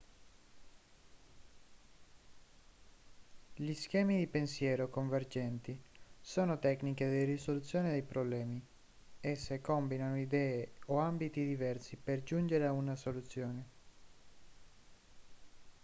gli schemi di pensiero convergenti sono tecniche di risoluzione dei problemi esse combinano idee o ambiti diversi per giungere a una soluzione